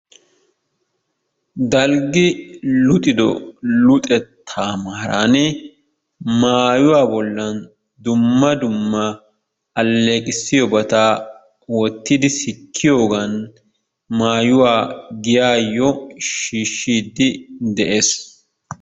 Dalggi luxido luxettaa maaraani maayuwa bollan dumma dumma alleeqissiyobata wottidi sikkiyogan maayuwa giyayyo shiishshiiddi de'ees.